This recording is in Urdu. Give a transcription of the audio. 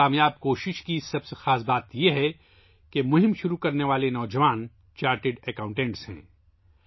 اس کامیاب کوشش کی سب سے اہم بات یہ ہے کہ مہم شروع کرنے والے نوجوان چارٹرڈ اکاؤنٹنٹ ہیں